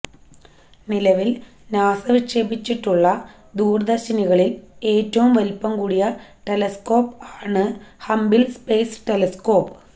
നിലവില് നാസ വിക്ഷേപിച്ചിട്ടുള്ള ദൂരദര്ശിനികളില് ഏറ്റവും വലിപ്പം കൂടിയ ടെലെസ്സ്കോപ്പ് ആണ് ഹബിള് സ്പേസ് ടെലെസ്കോപ്പ്